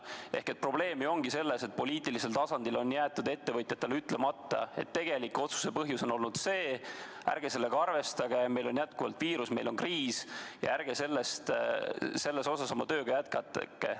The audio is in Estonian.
Ehk probleem on selles, et poliitilisel tasandil on jäetud ettevõtjatele ütlemata, et tegelik otsuse põhjus on olnud selline, ärge teie sellega arvestage, meil on endiselt viirus, meil on kriis ja ärge selles osas oma tööd jätkake.